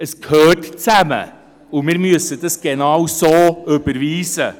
Es gehört zusammen, und wir müssen das genau so überweisen.